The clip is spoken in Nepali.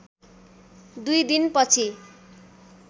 दुई दिनपछि